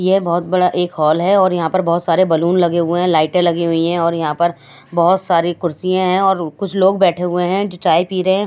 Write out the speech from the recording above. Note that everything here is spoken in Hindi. यह बहुत बड़ा एक हॉल है और यहां पर बहुत सारे बैलून लगे हुए हैं लाइटें लगी हुई हैं और यहां पर बहुत सारे कुर्सियां हैं और कुछ लोग बैठे हुए हैं जो चाय पी रहे हैं।